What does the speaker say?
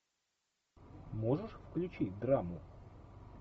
можешь включить драму